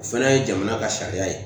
O fana ye jamana ka sariya ye